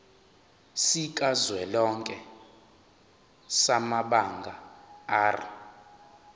sikazwelonke samabanga r